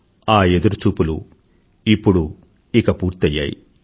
ఆ ఎదురుచూపులు ఇప్పుడు ఇక పూర్తయ్యాయి